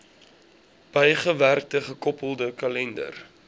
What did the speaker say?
bygewerkte gekoppelde kalender